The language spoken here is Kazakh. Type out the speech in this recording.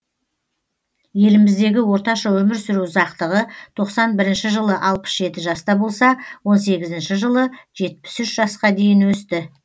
еліміздегі орташа өмір сүру ұзақтығы тоқсан бірінші жылы алпыс жеті жаста болса он сегізінші жылы жетпіс үш жасқа дейін өсті